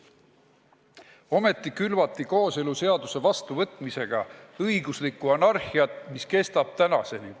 Samas külvati kooseluseaduse vastuvõtmisega õiguslikku anarhiat, mis kestab tänaseni.